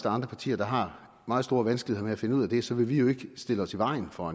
andre partier der har meget store vanskeligheder med at finde ud af det så vil vi jo ikke stille os i vejen for